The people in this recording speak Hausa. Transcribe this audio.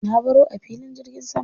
Na baro a filin jirgin sama.